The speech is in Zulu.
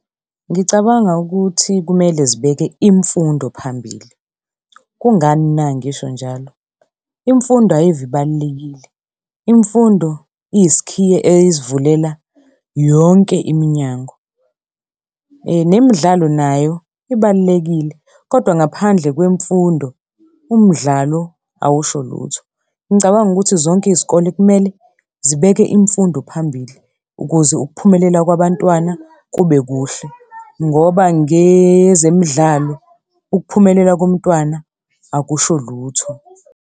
Ngicabanga ukuthi kumele zibeke imfundo phambili. Kungani na ngisho njalo? Imfundo ayive ibalulekile. Imfundo iyisikhiye esivulela yonke iminyango. Nemidlalo nayo ibalulekile, kodwa ngaphandle kwemfundo umdlalo awusho lutho. Ngicabanga ukuthi zonke izikole kumele zibeke imfundo phambili, ukuze ukuphumelela kwabantwana kube kuhle. Ngoba ngezemidlalo ukuphumelela komntwana akusho lutho.